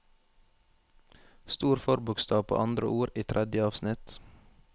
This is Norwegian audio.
Stor forbokstav på andre ord i tredje avsnitt